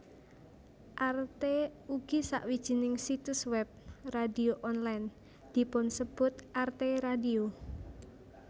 Arte ugi sawijining situs web radio online dipunsebut Arte Radio